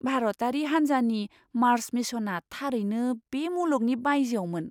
भारतारि हान्जानि मार्स मिशनआ थारैनो बे मुलुगनि बायजोआवमोन!